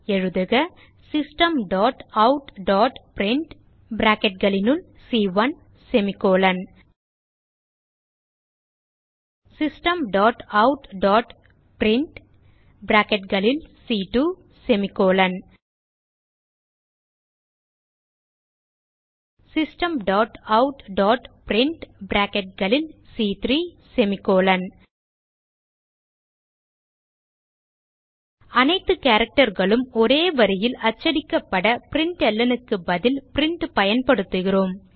எழுதுக systemoutபிரின்ட் systemoutபிரின்ட் systemoutபிரின்ட் அனைத்து characterகளும் ஒரே வரியில் அச்சடிக்கப்பட printlnக்கு பதில் பிரின்ட் பயன்படுத்துகிறோம்